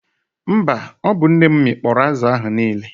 Mba, ọ bụ nne m mịkpọrọ azụ ahụ niile.